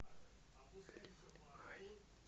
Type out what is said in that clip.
линьхай